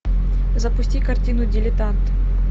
запусти картину дилетант